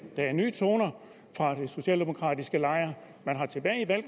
der er nye toner fra den socialdemokratiske lejr man